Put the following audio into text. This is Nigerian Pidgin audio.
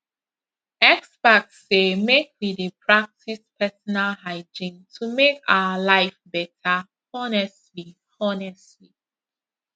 experts say make we dey practice personal hygiene to make our life better honestly honestly